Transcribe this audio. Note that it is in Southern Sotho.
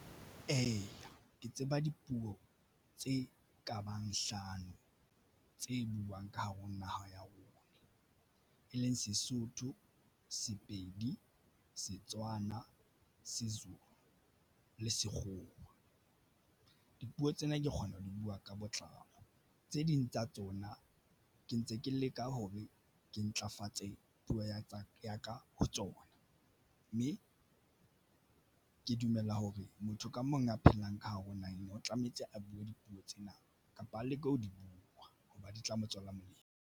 Eya, ke tseba dipuo tse kabang hlano tse buang ka hare ho naha ya rona, e leng Sesotho, Sepedi, Setswana, Sezulu le Sekgowa. Dipuo tsena ke kgona ho di buwa ka botlalo tse ding tsa tsona ke ntse ke leka ho be ke ntlafatse puo ya tsa ya ka tsona mme ke dumela hore motho ka mong a phelang ka hare ho naha eno, o tlametse a buwe dipuo tsena kapa a leke ho di buwa hoba di tla mo tswela molemo.